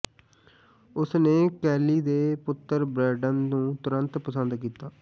ਉਸ ਨੇ ਕੈਲੀ ਦੇ ਪੁੱਤਰ ਬਰੈਂਡਨ ਨੂੰ ਤੁਰੰਤ ਪਸੰਦ ਕੀਤਾ